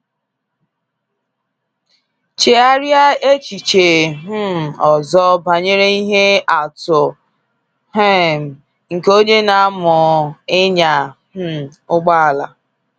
Chegharịa echiche um ọzọ banyere ihe atụ um nke onye na-amụ ịnya um ụgbọala.